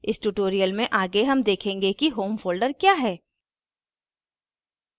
इस tutorial में आगे home देखेंगे कि home folder we है